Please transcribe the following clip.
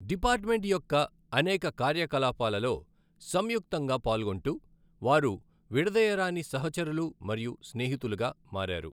Department యొక్క అనేక కార్యకలాపాలలో సంయుక్తంగా పాల్గొంటూ, వారు విడదీయరాని సహచరులు మరియు స్నేహితులుగా మారారు.